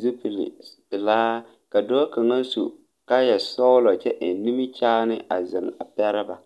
zupile pelaa ka dɔɔ kaŋa su kaayɛ sɔglɔ kyɛ eŋ nimikyaane a zeŋ a pɛre ba.